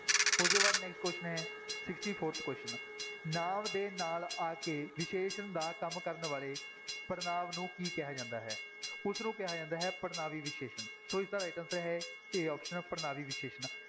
ਉਹਦੇ ਬਾਅਦ next question ਹੈ sixty-fourth question ਨਾਂਵ ਦੇ ਨਾਲ ਆ ਕੇ ਵਿਸ਼ੇਸ਼ਣ ਦਾ ਕੰਮ ਕਰਨ ਵਾਲੇ ਪੜ੍ਹਨਾਂਵ ਨੂੰ ਕੀ ਕਿਹਾ ਜਾਂਦਾ ਹੈ ਉਸਨੂੰ ਕਿਹਾ ਜਾਂਦਾ ਹੈ, ਪੜ੍ਹਨਾਂਵੀ ਵਿਸ਼ੇਸ਼ਣ ਸੋ ਇਸਦਾ right answer ਹੈ a option ਪੜ੍ਹਨਾਂਵੀ ਵਿਸ਼ੇਸ਼ਣ।